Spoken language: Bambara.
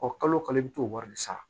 kalo o kalo i bɛ t'o wari de sara